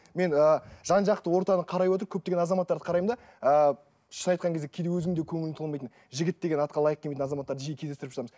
мен ы жан жақты ортаны қарай отырып көптеген азаматтарды қараймын да ыыы шынын айтқан кезде кейде өзің де көңілің толмайтын жігіт деген атқа лайық келмейтін азаматтарды жиі кездестіріп жатамыз